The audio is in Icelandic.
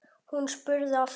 Hún spurði aftur.